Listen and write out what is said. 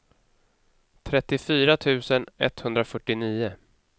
trettiofyra tusen etthundrafyrtionio